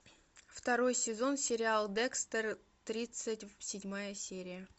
второй сезон сериал декстер тридцать седьмая серия